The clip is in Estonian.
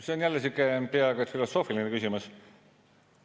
Siin on jälle sihuke peaaegu et filosoofiline küsimus.